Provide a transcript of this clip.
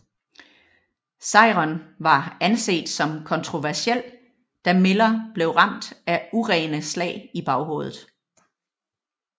Sejren var anset som kontroversiel da Miller blev ramt af urene slag i baghovedet